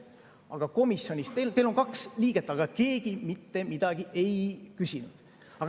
Teil on komisjonis kaks liiget, aga keegi mitte midagi ei küsinud.